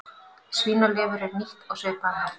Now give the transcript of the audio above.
Svínalifur er nýtt á svipaðan hátt.